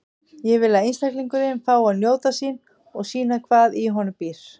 Ég vil að einstaklingurinn fái að njóta sín og sýna hvað í honum býr.